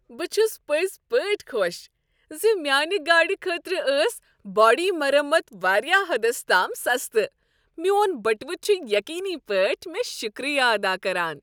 بہٕ چھس پٔزۍ پٲٹھۍ خوش ز میانہ گاڈِ خٲطرٕ ٲس باڑی مرمت واریاہ حدس تام سستہٕ ، میون بٹوٕ چھ یقینی پٲٹھۍ مےٚ شکریہ ادا کران!